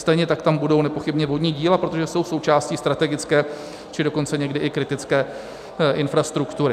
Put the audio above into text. Stejně tak tam budou nepochybně vodní díla, protože jsou součástí strategické, či dokonce někdy i kritické infrastruktury.